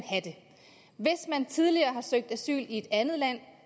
tidligere har søgt asyl i et andet land